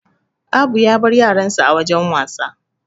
Abu ya bar yaransa a wajan wasa.